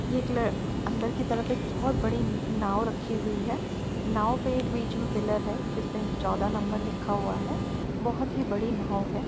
अंदर की तरफ एक बहुत बड़ी नाव रखी हुई है नाव पे एक बीच में पिलर है जिसमें चौदह नंबर लिखा हुआ है बहुत ही बड़ी नाव है।